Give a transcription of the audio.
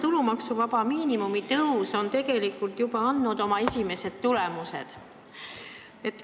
Tulumaksuvaba miinimumi tõus on juba oma esimesed tulemused andnud.